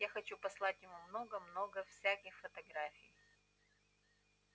я хочу послать ему много-много всяких фотографий